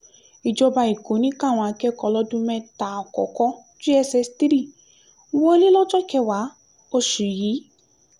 ìjọba èkó ní káwọn akẹ́kọ̀ọ́ ọlọ́dún mẹ́ta àkọ́kọ́ jss three wọlé lọ́jọ́ kẹwàá oṣù yìí